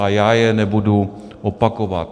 A já je nebudu opakovat.